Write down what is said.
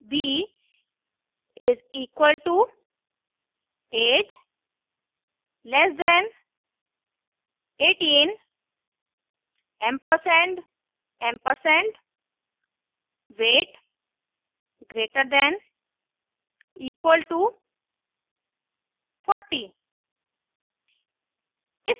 b is equal to age less than 18 ampersand ampersand weight greater than equal to 40